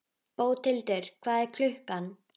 Bóthildur, hvað er klukkan?